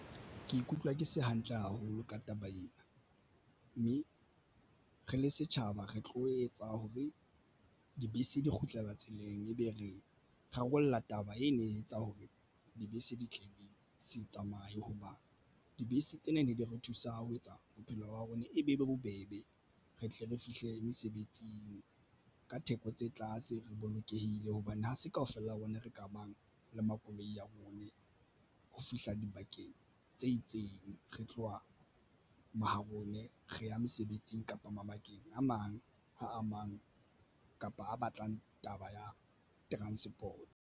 Ke ikutlwa ke se hantle haholo ka taba ena mme re le setjhaba re tlo etsa hore dibese di kgutlela tseleng ebe re rarolla taba ena. E etsa hore dibese di tla be se tsamaye hoba dibese tsena ne di re thusa ho etsa bophelo ba rona e be e be bobebe. Re tle re fihle mesebetsing ka theko tse tlase re bolokehile hobane ha se kaofela rona re ka bang le makoloi a rona ho fihla dibakeng tse itseng re tloha mahareng poone re ya mesebetsing kapa mabakeng a mang a mang kapa a batlang taba ya transport.